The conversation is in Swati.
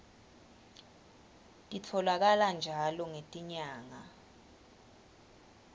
titfolakala njalo ngetinyanga